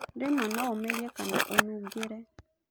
Rĩmwe no ũmerie kana ũnungĩre.